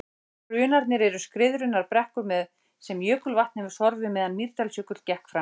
Hrunarnir eru skriðurunnar brekkur sem jökulvatn hefur sorfið meðan Mýrdalsjökull gekk framar.